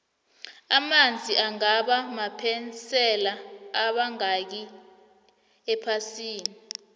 amanzi angaba maphesende amangakhi ephasini